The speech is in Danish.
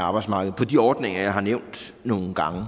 af arbejdsmarkedet på de ordninger jeg har nævnt nogle gange